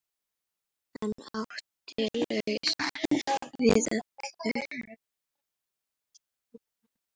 Hann átti lausn við öllu.